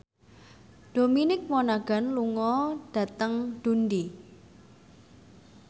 Dominic Monaghan lunga dhateng Dundee